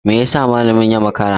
Me yasa malamin ya makara?